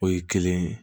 O ye kelen ye